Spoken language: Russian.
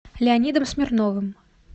леонидом смирновым